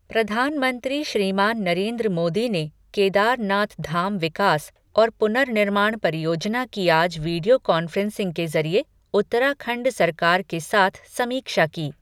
प्रधानमंत्री श्रीमान नरेन्द्र मोदी ने केदारनाथ धाम विकास और पुनर्निर्माण परियोजना की आज वीडियो कॅान्फ़्रेंसिंग के ज़रिये उत्तराखंड सरकार के साथ समीक्षा की।